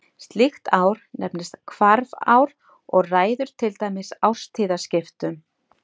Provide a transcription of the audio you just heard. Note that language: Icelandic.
Slíkt ár nefnist hvarfár og ræður til dæmis árstíðaskiptum.